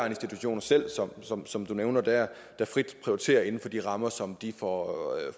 institutioner selv som som du nævner der der frit prioriterer inden for de rammer som de får